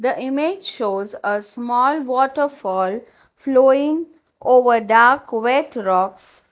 the image shows a small waterfall flowing over dark wet rocks.